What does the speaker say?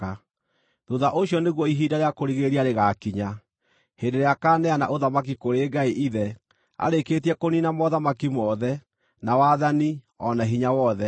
Thuutha ũcio nĩguo ihinda rĩa kũrigĩrĩria rĩgaakinya, hĩndĩ ĩrĩa akaaneana ũthamaki kũrĩ Ngai Ithe arĩkĩtie kũniina mothamaki mothe, na wathani, o na hinya wothe.